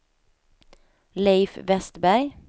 Leif Westberg